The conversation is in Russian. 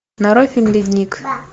нарой фильм ледник